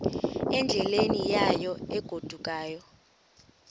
endleleni yayo egodukayo